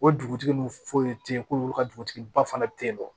O dugutigi ninnu foyi tɛ yen ko olu ka dugutigiba fana bɛ tentɔ